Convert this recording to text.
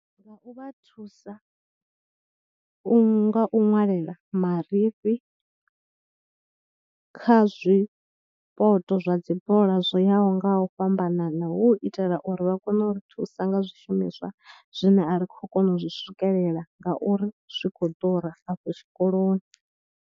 Nga u vha thusa u, nga u nwalela marifhi kha zwipoto zwa dzi bola zwo yaho nga u fhambanana, hu u itela uri vha kone u ri thusa nga zwishumiswa zwine a ri khou kona u zwi swikelela ngauri zwi khou afho tshikoloni.